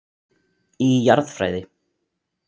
Í Jarðfræði.